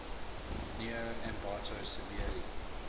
near ambato severely